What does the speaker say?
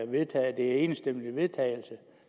vedtages enstemmigt